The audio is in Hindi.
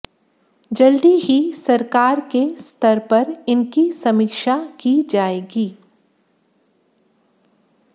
जल्दी ही सरकार के स्तर पर इनकी समीक्षा की जाएगी